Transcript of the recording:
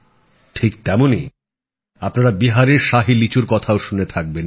ঠিক তেমনই আপনারা বিহারের শাহী লিচুর কথাও শুনে থাকবেন